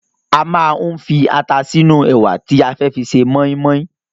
A máa ń fi ata sínú ẹ̀wà tí a fẹ́ fi ṣe mọ́ínmọ́ín